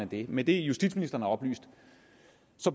det med det justitsministeren har oplyst